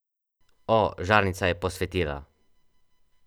O, žarnica je posvetila!